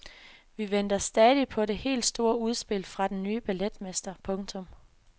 Vi venter stadig på det helt store udspil fra den ny balletmester. punktum